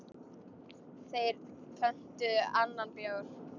Þeir pöntuðu annan bjór.